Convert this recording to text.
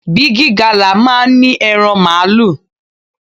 Bigi Gala máa ń ní ẹran Màálù.